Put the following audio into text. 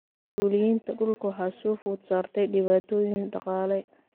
Mas�uuliyiinta dhulka waxaa soo food saartay dhibaatooyin dhaqaale.